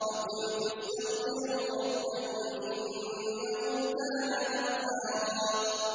فَقُلْتُ اسْتَغْفِرُوا رَبَّكُمْ إِنَّهُ كَانَ غَفَّارًا